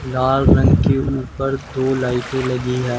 लाल रंग के ऊपर दो लाइटे लगी है।